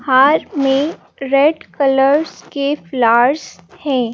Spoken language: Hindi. हार में रेड कलर्स के फ्लावर्स हैं।